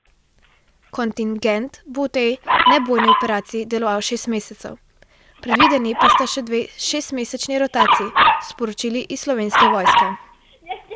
Kontingent bo v tej nebojni operaciji deloval šest mesecev, predvideni pa sta še dve šestmesečni rotaciji, so sporočili iz Slovenske vojske.